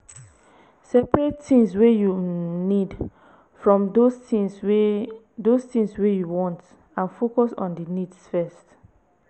separate things wey you um need from those things wey those things wey you want and focus on di needs first